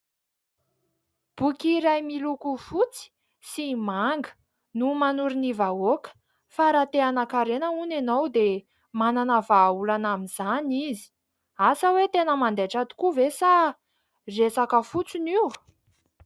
Boky iray miloko fotsy sy manga no manoro ny vahoaka fa raha te-hanankarena hony ianao dia manana vahaolana amin'izany izy. Asa hoe tena mandaitra tokoa ve sa resaka fotsiny io ?